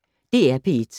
DR P1